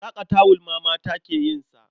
Saƙa tawul ma mata ke yin sa.